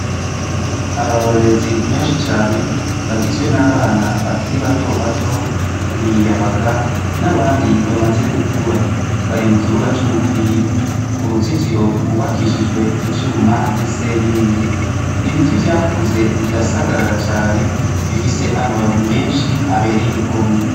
Abarorezi benshi cane bagizwe n'abana bakiri batoto, imiyabaga n'abandi bamaze gukura, bari mukibuga c'umupira, uruzitiro rwubakishijwe ivyuma n'isenyenge, ibiti vyakuze birasagarara cane bifise amababi menshi abereye igomwe.